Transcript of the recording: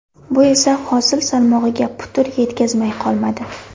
Bu esa hosil salmog‘iga putur yetkazmay qolmadi.